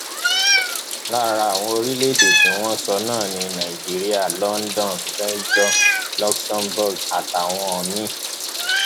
lára àwọn orílẹèdè tí wọn sọ náà ni nàìjíríà london belgium luxembourg àtàwọn míín